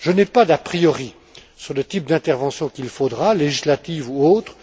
Je n'ai pas d'a priori sur le type d'intervention qu'il faudra législative ou autre.